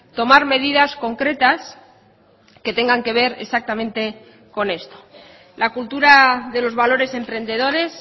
tomar medidas concretas que tengan que ver exactamente con esto la cultura de los valores emprendedores